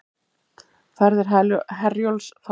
Ferðir Herjólfs falla niður